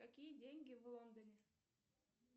какие деньги в лондоне